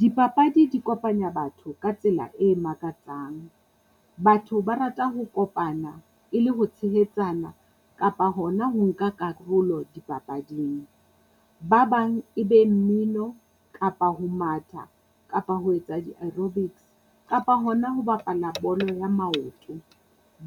Dipapadi di kopanya batho ka tsela e makatsang. Batho ba rata ho kopana e le ho tshehetsana kapa hona ho nka karolo dipapading. Ba bang e be mmino kapa ho matha kapa ho etsa di-aerobics kapa hona ho bapala bolo ya maoto.